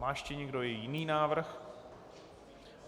Má ještě někdo jiný návrh?